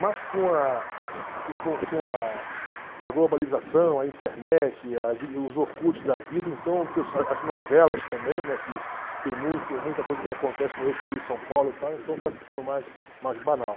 Mas com a com com com a a globalização, a internet, os orkut da vida, então as novelas também, né que tem muito muita coisa que acontece no eixo Rio-São Paulo e tal, então está ficando mais mais banal.